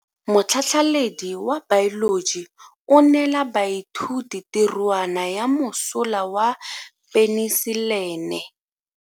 Motlhatlhaledi wa baeloji o neela baithuti tirwana ya mosola wa peniselene.